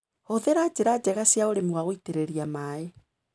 Hũthĩra njĩra njega cia ũrĩmi wa gũitĩrĩria maĩ.